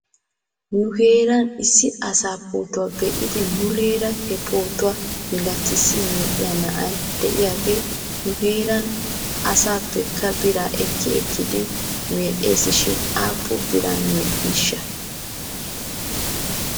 Nu heeran issi asaa pootuwaa be'idi muleera he pootuwaa milatissi medhdhiyaa na'a de'iyaagee nu heeran asaappekka biraa ekki ekkidi medhdhes shin aappun biran medhdhiishsha?